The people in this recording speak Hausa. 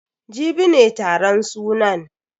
Jibi ne taron sunan.